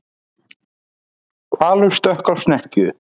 Hvalur stökk á snekkju